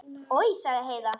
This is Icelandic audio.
Oj, sagði Heiða.